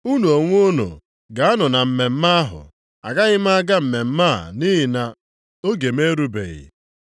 Unu onwe unu gaanụ na mmemme ahụ, agaghị m aga mmemme a nʼihi na oge m erubeghị.”